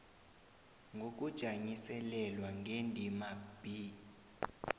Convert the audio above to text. ngokujanyiselelwa ngendima b